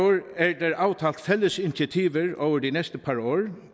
er der aftalt fælles initiativer over de næste par år